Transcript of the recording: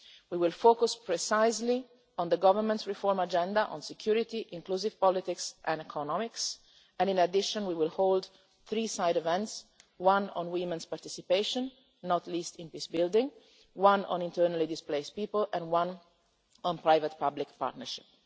We will focus precisely on the Government's reform agenda, security, inclusive politics and economics, and in addition we will hold three side events, one on women's participation one on internally displaced people and one on private public partnership.